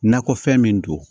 Nakɔfɛn min don